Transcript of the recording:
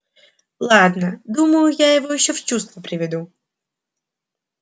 ладно думаю я его ещё в чувство приведу